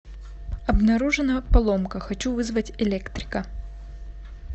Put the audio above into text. обнаружена поломка хочу вызвать электрика